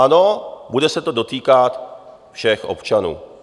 Ano, bude se to dotýkat všech občanů.